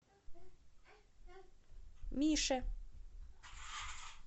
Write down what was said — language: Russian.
мише